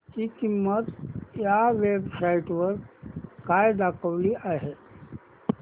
ची किंमत या वेब साइट वर काय दाखवली आहे